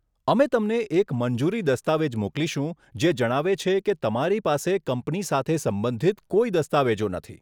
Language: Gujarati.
અમે તમને એક મંજૂરી દસ્તાવેજ મોકલીશું જે જણાવે છે કે તમારી પાસે કંપની સાથે સંબંધિત કોઈ દસ્તાવેજો નથી.